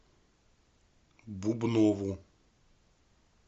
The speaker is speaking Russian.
бубнову